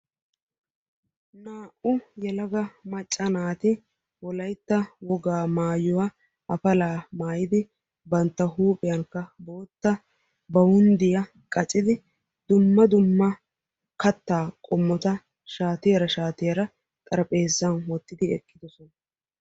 naa"u yelaga macca naati wolaytta wogaa maayuwa appala maayidi bantta huuphiyaankka bootta baawunddiya qaccidi dumma dumma kattaa qomota shaatiyara shaatiyaara xarapheezzan wottidi eqqidoosona.